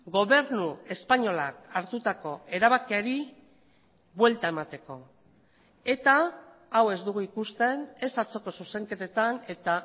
gobernu espainolak hartutako erabakiari buelta emateko eta hau ez dugu ikusten ez atzoko zuzenketetan eta